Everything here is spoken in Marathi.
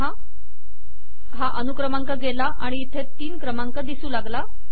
पहा की हा अनुक्रमांक गेला आणि इथे तीन क्रमांक दिसू लागला